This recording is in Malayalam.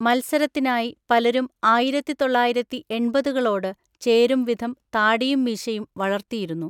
മത്സരത്തിനായി പലരും ആയിരത്തി തൊള്ളായിരത്തി എണ്‍പതുകളോട് ചേരുംവിധം താടിയും മീശയും വളർത്തിയിരുന്നു.